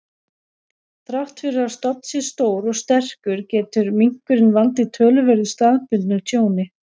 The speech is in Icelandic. Þrátt fyrir að stofn sé stór og sterkur, getur minkurinn valdið töluverðu staðbundnu tjóni.